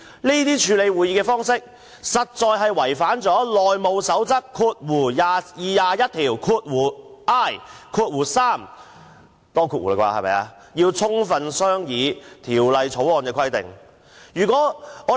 這種處理《條例草案》的方式，實在有違《內務守則》第 21i 條有關要充分商議法案的規定。